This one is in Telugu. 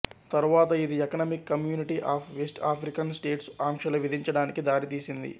తరువాత ఇది Economic Community of West African States అంక్షలు విధించడానికి దారితీసింది